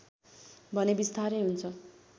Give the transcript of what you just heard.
भने विस्तारै हुन्छ